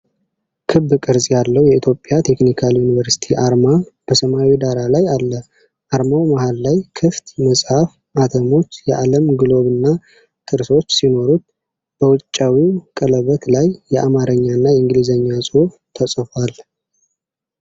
ክብ ቅርጽ ያለው የኢትዮጵያ ቴክኒካል ዩኒቨርሲቲ አርማ በሰማያዊ ዳራ ላይ አለ። አርማው መሐል ላይ ክፍት መጽሐፍ፣ አተሞች፣ የዓለም ግሎብና ጥርሶች ሲኖሩት፣ በውጫዊው ቀለበት ላይ የአማርኛና የእንግሊዝኛ ጽሑፍ ተጽፏል።